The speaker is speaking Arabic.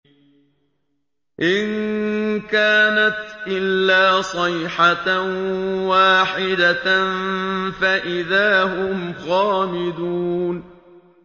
إِن كَانَتْ إِلَّا صَيْحَةً وَاحِدَةً فَإِذَا هُمْ خَامِدُونَ